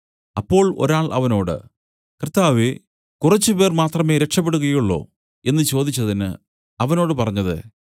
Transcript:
അപ്പോൾ ഒരാൾ അവനോട് കർത്താവേ കുറച്ച് പേർ മാത്രമേ രക്ഷപെടുകയുള്ളോ എന്നു ചോദിച്ചതിന് അവനോട് പറഞ്ഞത്